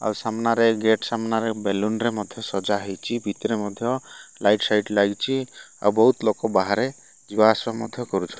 ଆଉ ସାମ୍ନାରେ ଗେଟ୍ ସାମ୍ନାରେ ବେଲୁନ୍ ରେ ମଧ୍ୟ ସଜା ହେଇଚି। ଭିତରେ ମଧ୍ୟ ଲାଇଟ୍ ସାଇଟ୍ ଲାଗିଚି‌। ଆଉ ବୋହୁତ୍ ଲୋକ ବାହାରେ ଯିବା ଆସିବା ମଧ୍ୟ କରୁଛ --